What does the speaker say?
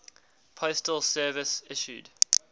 postal service issued